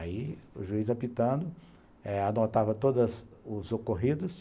Aí o juiz apitando eh anotava todos os ocorridos,